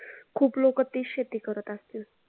खूप लोक तीच शेती करत आसतील